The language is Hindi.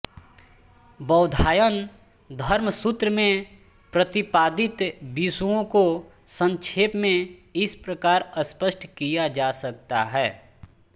बौधायन धर्मसूत्र में प्रतिपादित विषयों को संक्षेप में इस प्रकार स्पष्ट किया जा सकता है